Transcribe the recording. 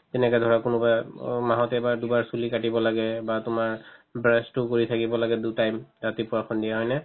এনেকে ধৰা কোনোবা অ মাহত এবাৰ দুবাৰ চুলি কাটিব লাগে বা তোমাৰ brush তো কৰি থাকিব লাগে দু time ৰাতিপুৱা সন্ধিয়া হয় নে